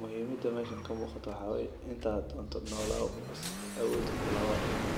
muhimada waxa waye inta rabto nolow waa dimani.